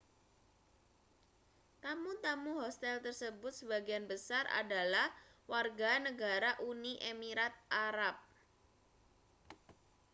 tamu-tamu hostel tersebut sebagian besar adalah warga negara uni emirat arab